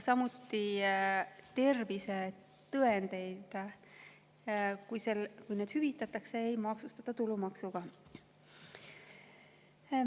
Samuti ei maksustata tervisetõendiga hüvitist tulumaksuga.